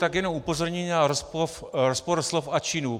Tak jenom upozornění a rozpor slov a činů.